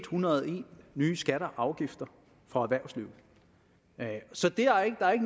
hundrede og en nye skatter og afgifter for erhvervslivet så der er ikke